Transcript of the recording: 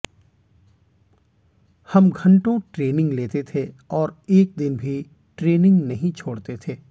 हम घंटो ट्रेनिंग लेते थे और एक दिन भी ट्रेनिंग नहीं छोड़ते थे